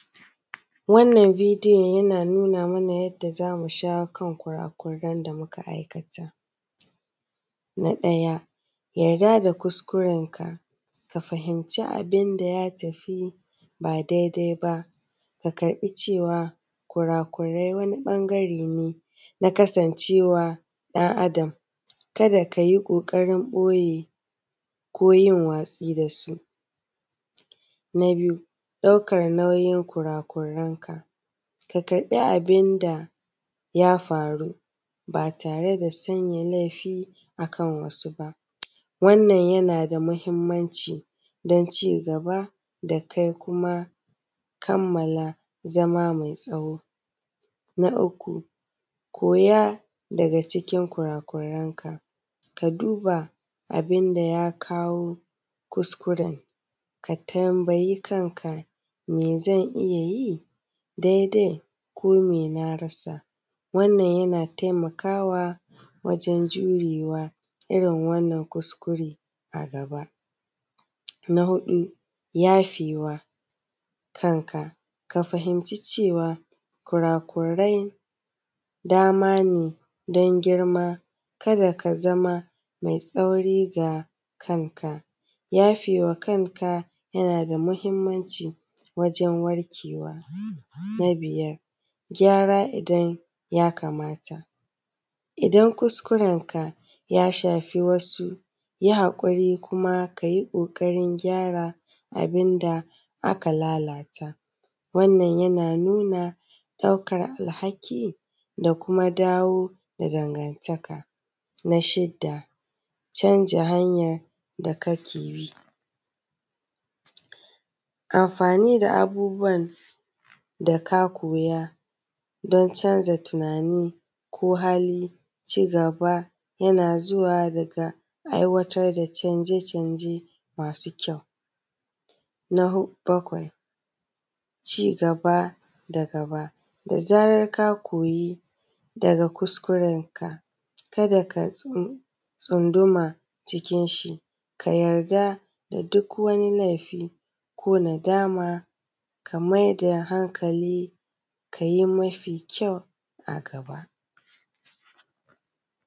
Wannan bidiyon yana nuna mana yanda za mu shawo kan kurakuran da muka aikata. Na ɗaya yarda da kuskurenka, ka fahimci abun da ya tafi ba dai dai ba ka karɓi cewa kura kurai wani ɓangare ne na kasancewa ɗan Adam. Ka da ka yi ƙokarin ɓoye ko yin watsi da su. Na biyu ɗaukan nauyin kurakurenka, ka karɓi abun da ya faru ba tare da sanya laifi akan wasu ba. Wannan yana da muhimmanci don cigaba da kai kuma kammala zama mai tsawo. Na uku koya daga cikin kurakranka ka duba abun da ya kawo kuskuren, ka tambayi kanka mai zan iya yi dai dai ko me na rasa? Wannan yana taimakawa wajan jurewa irin wannan kuskure a gaba. Na hudu yafe wa kanka, ka fahimci cewa kurakurai dama ne don girma, kada ka zama mai tsauri ga kanka yafe wa kanka yana da muhimmanci wajan warkewa. Na biyar gyara idan ya kamata. Idan kuskurenka ya shafi wasu yi hakuri kuma ka yi ƙokarin gyara abinda aka lalata, wannan yana nuna ɗaukan alhaki da kuma dawo da dangantaka. Na shida canja hanyar da kake bi, amfani da abubuwan da ka koya don canza tunani ko hali. Cigaba yana zuwa daga aiwatar da canje canje masu kyau. Na bakwai cigaba da gaba da zarar ka koyi daga kuskurenka kada ka tsunduma jikin shi ka yarda da duk wani laifi ko nadama ka maida hankali ka yi mafi kyau a gaba.